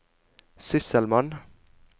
sysselmann